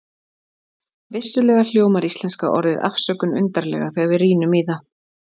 Vissulega hljómar íslenska orðið afsökun undarlega þegar við rýnum í það.